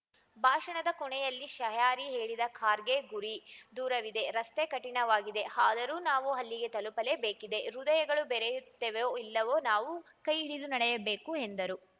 ಭಾಷಣದ ಕೊನೆಯಲ್ಲಿ ಶಾಯರಿ ಹೇಳಿದ ಖರ್ಗೆ ಗುರಿ ದೂರವಿದೆ ರಸ್ತೆ ಕಠಿಣವಾಗಿದೆ ಆದರೂ ನಾವು ಅಲ್ಲಿಗೆ ತಲುಪಲೇಬೇಕಿದೆ ಹೃದಯಗಳು ಬೆರೆಯುತ್ತವೆಯೋ ಇಲ್ಲವೋ ನಾವು ಕೈಹಿಡಿದು ನಡೆಯಬೇಕು ಎಂದರು